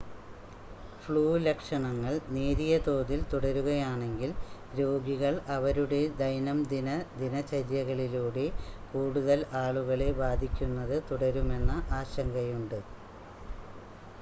flu ലക്ഷണങ്ങൾ നേരിയ തോതിൽ തുടരുകയാണെങ്കിൽ രോഗികൾ അവരുടെ ദൈനംദിന ദിനചര്യകളിലൂടെ കൂടുതൽ ആളുകളെ ബാധിക്കുന്നത് തുടരുമെന്ന ആശങ്കയുണ്ട്